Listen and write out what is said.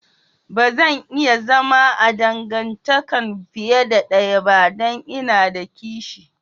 Ba zan iya zama a dangantakan fiyar da daya ba dan n'na da kishi.